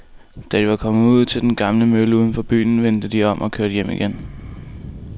Da de var kommet ud til den gamle mølle uden for byen, vendte de om og kørte hjem igen.